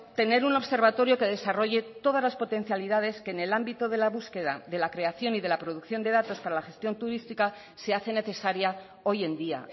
tener un observatorio que desarrolle todas las potencialidades que en el ámbito de la búsqueda de la creación y de la producción de datos para la gestión turística se hace necesaria hoy en día